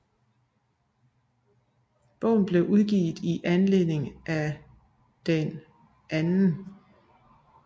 Bogen blev udgivet i anledning af den 2